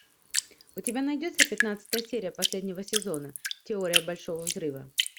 у тебя найдется пятнадцатая серия последнего сезона теория большого взрыва